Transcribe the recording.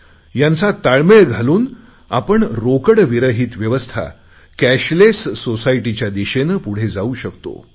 यांचा ताळमेळ घालून आपण रोकडविरहित व्यवस्था कॅशलेस सोसायटीच्या दिशेने पुढे जाऊ शकतो